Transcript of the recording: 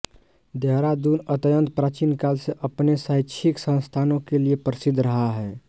देहरादूत अत्यन्त प्राचीनकाल से अपने शैक्षिक संस्थानों के लिए प्रसिद्ध रहा है